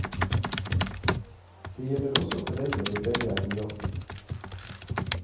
Det gjelder også foreldre hvor begge er i jobb.